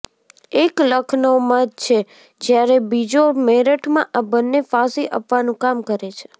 એક લખનૌમાં છે જ્યારે બીજો મેરઠમાં આ બંન્ને ફાંસી આપવાનું કામ કરે છે